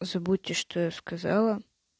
забудьте что я сказала